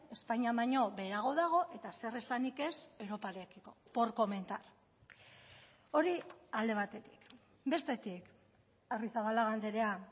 espainian baino beherago dago eta zer esanik ez europarekiko por comentar hori alde batetik bestetik arrizabalaga andrea